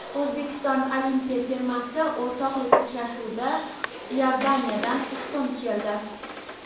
O‘zbekiston olimpiya termasi o‘rtoqlik uchrashuvida Iordaniyadan ustun keldi.